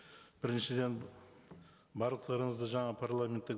біріншіден барлықтарыңызды жаңа парламентті